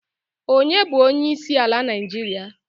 Ọnye na-bụ onyeisiala Naijiria?